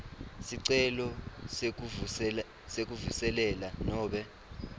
sicelo sekuvuselela nobe